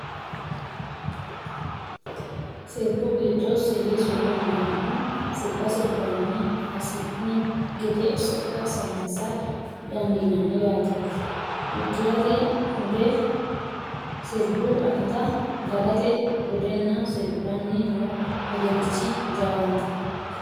Sirbu giddo silisu no yinannihu sirba sirbinanni hasi'ni gede sokka saysa dandiinanni yaateti, uddirate hude sirbu akata, dagate budenna sirbanni no wedelichi jawaante.